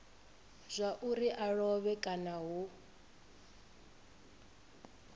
zwauri a lovhe kana hu